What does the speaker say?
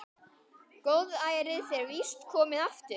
Góðærið er víst komið aftur.